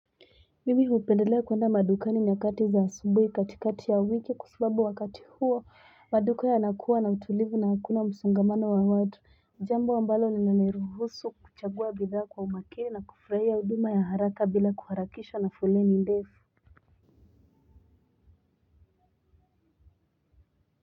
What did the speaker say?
Mimi hupendelea kuenda madukani nyakati za asubhi katikati ya wiki kwa sababu wakati huo maduka yanakuwa na utulivu na hakuna msongamano wa watu jambo ambalo linaniruhusu kuchagua bidhaa kwa umakini na kufurahia huduma ya haraka bila kuharakishwa na foleni ndefu.